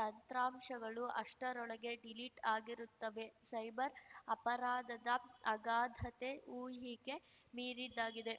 ತಂತ್ರಾಂಶಗಳು ಅಷ್ಟರೊಳಗೆ ಡಿಲೀಟ್‌ ಆಗಿರುತ್ತವೆ ಸೈಬರ್‌ ಅಪರಾಧದ ಅಗಾಧತೆ ಊಹಿಗೆ ಮೀರಿದ್ದಾಗಿದೆ